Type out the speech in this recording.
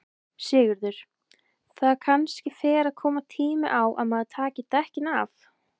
Sigurður: Það kannski fer að koma tími á að maður taki dekkin af?